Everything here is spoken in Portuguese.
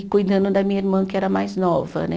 E cuidando da minha irmã, que era mais nova, né?